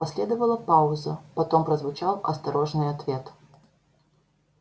последовала пауза потом прозвучал осторожный ответ